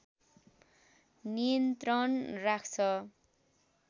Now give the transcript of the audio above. नियन्त्रण राख्छ